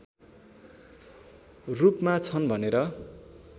रूपमा छन् भनेर